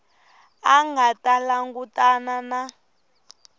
a nga ta langutana na